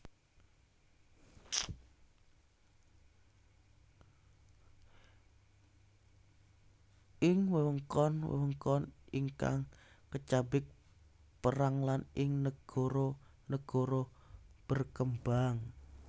Ing wewengkon wewengkon ingkang kacabik perang lan ing nagara nagara berkembang